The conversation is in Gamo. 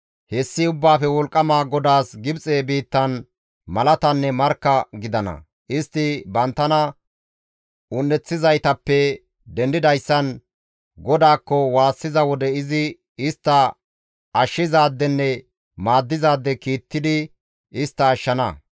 Hessi Ubbaafe Wolqqama GODAAS Gibxe biittan malatanne markka gidana; istti banttana un7eththizaytappe dendidayssan GODAAKKO waassiza wode izi istta ashshizaadenne maaddizaade kiittidi istta ashshana.